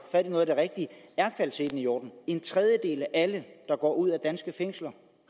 fat i noget af det rigtige er kvaliteten i orden en tredjedel af alle der går ud af danske fængsler